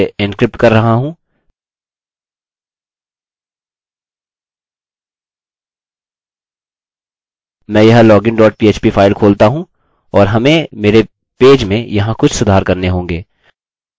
मानते हैं कि मैं अपने लॉगिन भाग के लिए एन्क्रिप्ट कर रहा हूँ मैं यह login dot php फाइल खोलता हूँ और हमें मेरे पेज में यहाँ कुछ सुधार करने होंगे